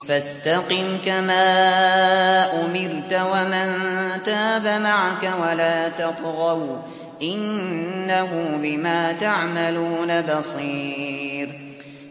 فَاسْتَقِمْ كَمَا أُمِرْتَ وَمَن تَابَ مَعَكَ وَلَا تَطْغَوْا ۚ إِنَّهُ بِمَا تَعْمَلُونَ بَصِيرٌ